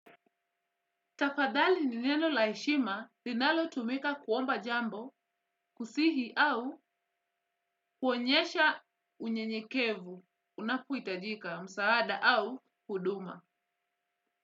Tafadhali ni neno la heshima linalotumika kuomba jambo kusihi au kuonyesha unyenyekevu unapohitajika msaada au huduma.